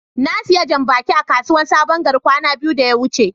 na siya jam-baki a kasuwan sabon gari kwana biyu da ya wuce.